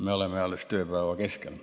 Me oleme alles tööpäeva keskel.